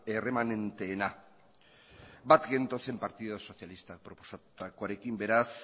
erremanenteena bat gentozen alderdi sozialistak proposatutakoarekin beraz